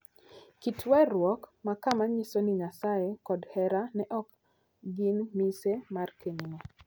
Kit weruok ma kama nyiso ni Nyasaye kod hera ne ok gin mise mar kenyno.